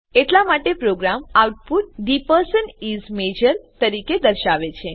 એટલા માટે program output the person is major તરીકે દર્શાવે છે